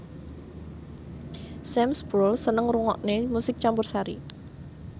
Sam Spruell seneng ngrungokne musik campursari